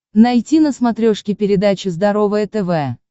найти на смотрешке передачу здоровое тв